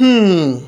um